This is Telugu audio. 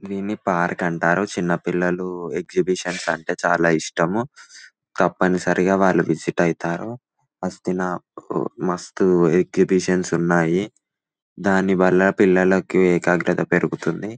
దీన్ని పార్క్ అంటారు. చిన్న పిల్లలు ఎగ్జిబిషన్స్ అంటే చాలా ఇష్టము తప్పనిసరిగా వాళ్ళు విసిట్ అవుతారు. వస్తున్న మస్తు ఎగ్జిబిషన్స్ ఉన్నాయి. దానివల్ల పిల్లలకిఏకాగ్రత పెరుగుతుంది.